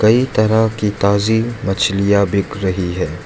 कई तरह की ताजी मछलियां बिक रही हैं।